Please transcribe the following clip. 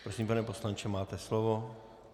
Prosím, pane poslanče, máte slovo.